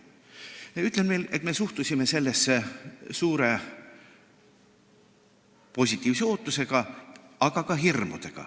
Ma ütlen veel, et me suhtusime sellesse suure positiivse ootusega, aga meil olid ka hirmud.